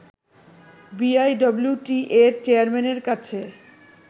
বিআইডব্লিউটিএর চেয়ারম্যানের কাছে